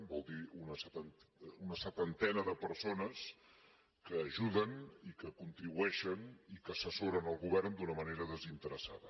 vol dir una setantena de persones que ajuden i que contribueixen i que assessoren el govern d’una manera desinteressada